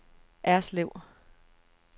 Erslev